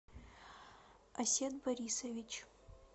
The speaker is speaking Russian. асет борисович